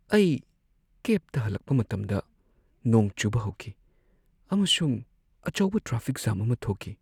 ꯑꯩ ꯀꯦꯕꯇ ꯍꯜꯂꯛꯄ ꯃꯇꯝꯗ ꯅꯣꯡ ꯆꯨꯕ ꯍꯧꯈꯤ, ꯑꯃꯁꯨꯡ ꯑꯆꯧꯕ ꯇ꯭ꯔꯥꯐꯤꯛ ꯖꯥꯝ ꯑꯃ ꯊꯣꯛꯈꯤ꯫